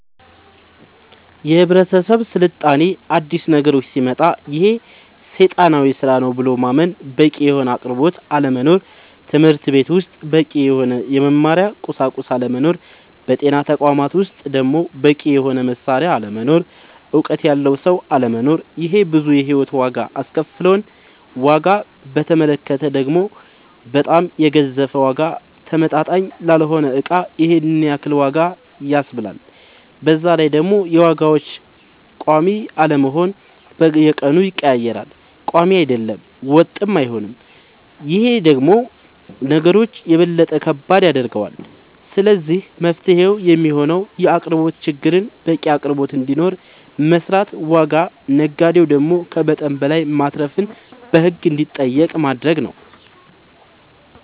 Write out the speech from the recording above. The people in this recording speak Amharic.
የህብረተሰብ ስልጣኔ አዲስ ነገሮች ሲመጣ ይሄ ሴጣናዊ ስራ ነው ብሎ ማመን በቂ የሆነ አቅርቦት አለመኖር ትምህርትቤት ውስጥ በቂ የሆነ የመማሪያ ቁሳቁስ አለመኖር በጤና ተቋማት ውስጥ ደሞ በቂ የሆነ መሳሪያ አለመኖር እውቀት ያለው ሰው አለመኖር ይሄ ብዙ የሂወት ዋጋ አስከፍሎል ዋጋ በተመለከተ ደሞ በጣም የገዘፈ ዋጋ ተመጣጣኝ ላልሆነ እቃ ይሄንን ያክል ዋጋ ያስብላል በዛላይ ደሞ የዋጋዎች ቆሚ አለመሆን በየቀኑ ይቀያየራል ቆሚ አይደለም ወጥም አይሆንም ይሄ ደሞ ነገሮች የበለጠ ከባድ ያደርገዋል ስለዚህ መፍትሄው የሚሆነው የአቅርቦት ችግርን በቂ አቅርቦት እንዲኖር መስራት ዋጋ ነጋዴው ደሞ ከመጠን በላይ ማትረፍን በህግ እንዲጠየቅ ማረግ